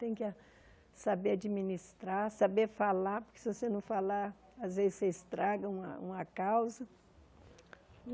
Tem que ah saber administrar, saber falar, porque se você não falar, às vezes, você estraga uma uma causa.